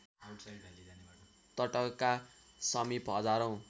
तटका समिप हजारौँ